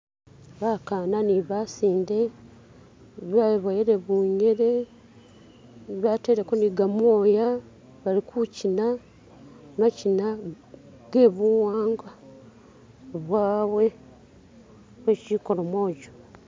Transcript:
Bakana ni basinde beboyele buyele bateleko ni gamoya bali kukyina makyina gebuwangwa bwawe bwe kyikolomojo